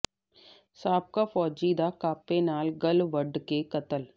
ਸਾਬਕਾ ਫੌਜੀ ਦਾ ਕਾਪੇ ਨਾਲ ਗਲ਼ ਵੱਢ ਕੇ ਕਤਲ